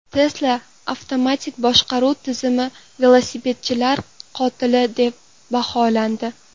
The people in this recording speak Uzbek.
Tesla avtomatik boshqaruv tizimi velosipedchilar qotili deb baholandi.